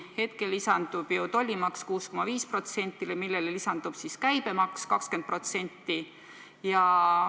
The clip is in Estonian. Hetkel lisandub ju tollimaks 6,5%, millele omakorda lisandub käibemaks 20%.